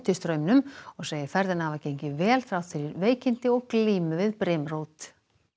straumnum og segir ferðina hafa gengið vel þrátt fyrir veikindi og glímu við brimrót